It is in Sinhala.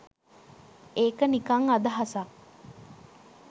ඒක නිකං අදහසක් !